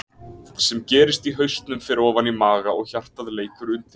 Það sem gerist í hausnum fer ofan í maga og hjartað leikur undir.